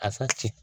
A ka ci